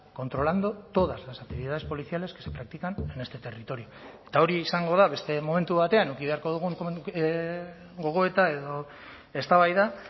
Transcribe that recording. controlando todas las actividades policiales que se practican en este territorio eta hori izango da beste momentu batean eduki beharko dugun gogoeta edo eztabaida